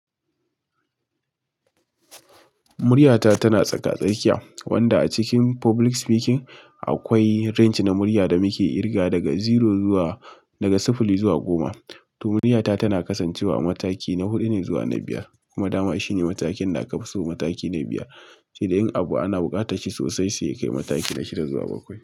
Muryata tana tsaka-tsakiya, wanda a cikin public speaking akwai range na murya da muke kirgawa daga zero zuwa, daga sifili zuwa goma. To muryata tana kasancewa a mataki na hudu ne zuwa na biyar, kuma dama shine matakin da aka fi so mataki na biyar. Sai dai in abu ana buƙatar shi sosai sai ya kai mataki na shida zuwa bakwai.